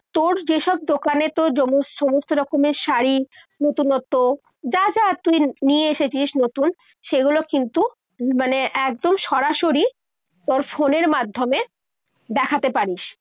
তোর যেসব দোকানে তোর সমস্ত রকমের শাড়ি, নতুনত্ব যা যা তুই নিয়ে এসেছিস নতুন সেগুলো কিন্তু একদম সরাসরি তোর ফোনের মাধ্যমে দেখাতে পারিস।